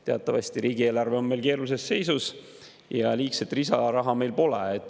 Teatavasti riigieelarve on meil keerulises seisus ja liigset lisaraha meil pole.